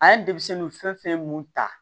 A ye denmisɛnninw fɛn fɛn mun ta